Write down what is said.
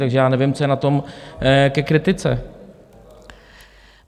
Takže já nevím, co je na tom ke kritice.